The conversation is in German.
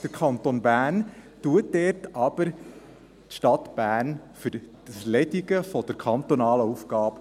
Der Kanton Bern entschädigt dort aber die Stadt Bern für die Erledigung der kantonalen Aufgabe.